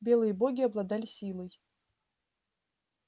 белые боги обладали силой